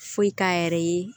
Foyi k'a yɛrɛ ye